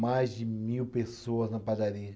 Mais de mil pessoas na padaria.